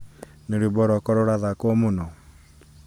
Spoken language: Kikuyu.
nĩ rwĩmbo rwaka rurathakwo muno